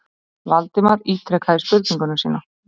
Valdimar ítrekaði spurningu sína.